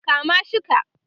kama shi ka!